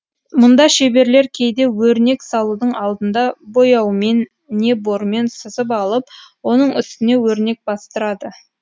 мұнда шеберлер кейде өрнек салудың алдында бояумен не бормен сызып алып оның үстіне өрнек бастырады